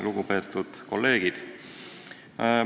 Lugupeetud kolleegid!